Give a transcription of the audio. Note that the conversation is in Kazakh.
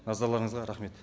назарларыңызға рахмет